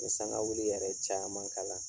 N ɲe sangawuili yɛrɛ caman kala